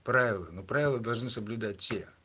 правила но правила должны соблюдать те